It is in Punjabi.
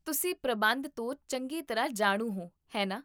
ਤੁਸੀਂ ਪ੍ਰਬੰਧ ਤੋਂ ਚੰਗੀ ਤਰ੍ਹਾਂ ਜਾਣੂ ਹੋ, ਹੈ ਨਾ?